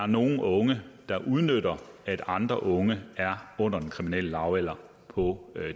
nogle unge der udnytter at andre unge er under den kriminelle lavalder på